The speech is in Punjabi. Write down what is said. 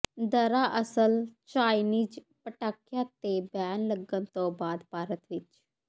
ਦਰਅਸਲ ਚਾਈਨੀਜ਼ ਪਟਾਖਿਆਂ ਤੇ ਬੈਨ ਲੱਗਣ ਤੋਂ ਬਾਅਦ ਭਾਰਤ ਵਿਚ